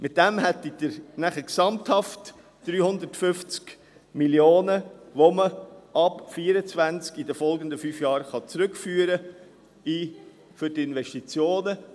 Damit hätten Sie gesamthaft 350 Mio. Franken für Investitionen, die man ab 2024, in den folgenden fünf Jahren, zurückführen könnte.